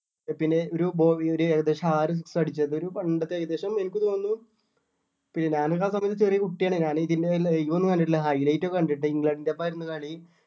പിന്നെ ഒരു ബോ ഒരു ഏകദേശം ആറ് six ആ അടിച്ചത് ഒരു പണ്ടത്തെ ഏകദേശം എനിക്ക് തോന്നുന്നു പിന്നെ ഞാനൊക്കെ ആ സമയത്ത് ചെറിയ കുട്ടിയാണ് കാരണം ഇതിൻ്റെ live ഒന്നും കണ്ടിട്ടില്ല high light ഒക്കെ കണ്ടിട്ട് ഇംഗ്ലണ്ട്ൻ്റെ ഒപ്പം ആയിരുന്നു കളി